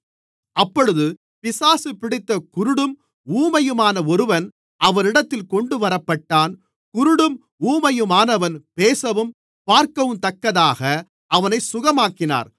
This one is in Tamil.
அப்பொழுது பிசாசு பிடித்த குருடும் ஊமையுமான ஒருவன் அவரிடத்தில் கொண்டுவரப்பட்டான் குருடும் ஊமையுமானவன் பேசவும் பார்க்கவுந்தக்கதாக அவனைச் சுகமாக்கினார்